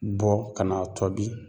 Bɔ kan'a tɔbi